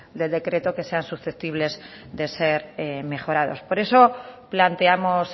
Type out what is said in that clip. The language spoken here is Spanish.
del decreto que sean susceptibles de ser mejorados por eso planteamos